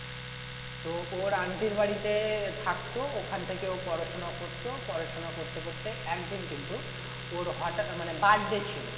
তো ওর aunty এর বাড়িতে থাকতো ওখান থেকে ও পড়াশোনা করতো পড়াশোনা করতে করতে একদিন কিন্তু ওর হঠাৎ মানে birthday ছিল